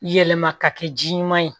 Yɛlɛma ka kɛ ji ɲuman ye